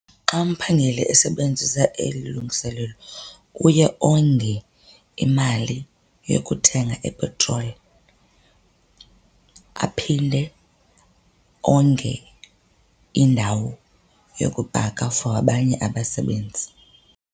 Xa umphangeli esebenzisa eli lungiselelo uye onge imali yokuthenga ipetroli aphinde onge indawo yokupaka for abanye abasebenzi.